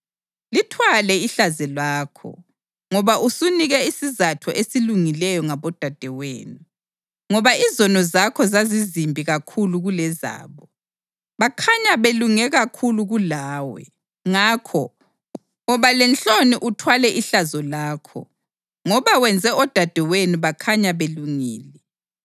Lithwale ihlazo lakho, ngoba usunike isizatho esilungileyo ngabodadewenu. Ngoba izono zakho zazizimbi kakhulu kulezabo, bakhanya belunge kakhulu kulawe. Ngakho, woba lenhloni uthwale ihlazo lakho, ngoba wenze odadewenu bakhanya belungile.